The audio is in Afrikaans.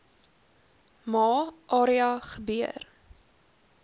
ma area gebeur